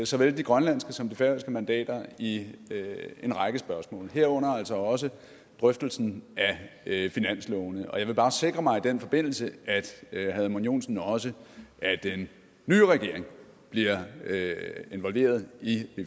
såvel de grønlandske som de færøske mandater i en række spørgsmål herunder altså også drøftelsen af finanslovene og jeg vil bare sikre mig i den forbindelse at herre edmund joensen også af den nye regering bliver involveret i